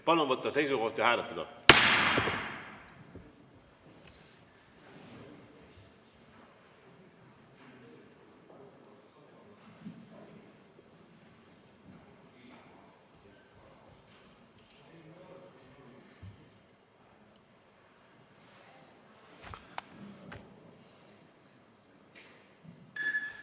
Palun võtta seisukoht ja hääletada!